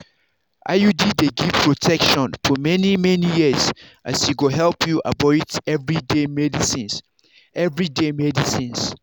iud dey give protection for many-many years as e go help you avoid everyday medicines. everyday medicines.